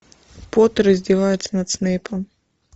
поттер издевается над снейпом